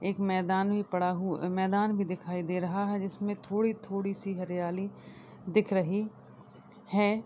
एक मैदान भी पड़ा हुआ मैदान भी दिखाई दे रहा है जिसमें थोड़ी-थोड़ी सी हरयाली दिख रही है।